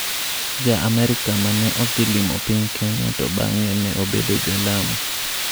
Ja Amerka ma ne odhi limo piny Kenya to bang'e ne obedo ja Lamu